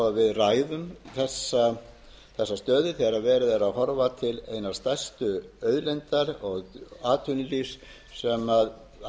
ræðum þessa stöðu þegar verið er að horfa til hinnar stærstu auðlindar og atvinnulífs sem sjávarbyggðirnar vítt